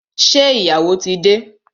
Ṣé ìyàwó tí dé?